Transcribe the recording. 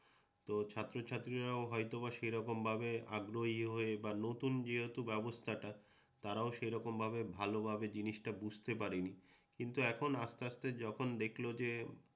তো ছাত্রছাত্রীরাও হয়তোবা সেই রকম ভাবে আগ্রহী হয়ে বা নতুন যেহেতু ব্যবস্থাটা তারাও সেরকম ভাবে ভালোভাবে জিনিসটা বুঝতে পারেনি। কিন্তু এখন আসতে আসতে যখন দেখল যে